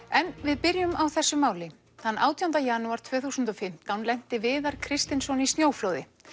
en við byrjum á þessu máli þann átjánda janúar tvö þúsund og fimmtán lenti Viðar Kristinsson í snjóflóði